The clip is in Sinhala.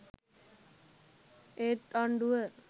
ඒත් ආණ්ඩුව.